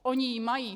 Oni ji mají.